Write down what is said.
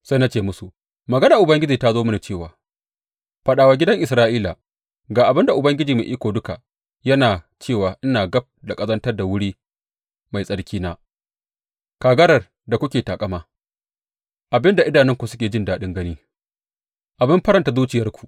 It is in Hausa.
Sai na ce musu, Maganar Ubangiji ta zo mini cewa faɗa wa gidan Isra’ila, Ga abin da Ubangiji Mai Iko Duka yana cewa ina gab da ƙazantar da wuri mai tsarkina, kagarar da kuke taƙama, abin da idanunku suke jin daɗin gani, abin faranta zuciyarku.